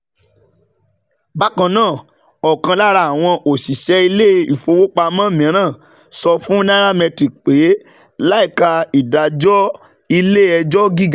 Bákan náà, ọ̀kan lára àwọn òṣìṣẹ́ ilé-ifowopamọ mìíràn sọ fún Nairametrics pé láìka ìdájọ́ ilé-ẹjọ́ gíga